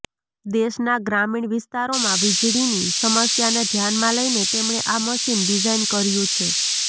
દેશના ગ્રામીણ વિસ્તારોમાં વીજળીની સમસ્યાને ધ્યાનમાં લઈને તેમણે આ મશીન ડિઝાઈન કર્યું છે